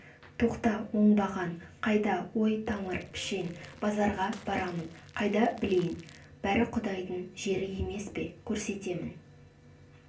тоқта оңбаған қайда ой тамыр пішен базарға барамын қайдан білейін бәрі құдайдың жері емес пе көрсетемін